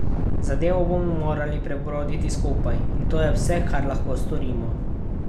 Zadevo bomo morali prebroditi skupaj, in to je vse, kar lahko storimo.